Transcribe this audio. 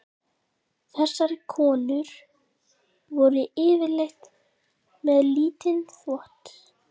Þessar konur voru yfirleitt með lítinn þvott.